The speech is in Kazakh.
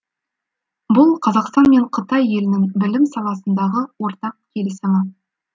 бұл қазақстан мен қытай елінің білім саласындағы ортақ келісімі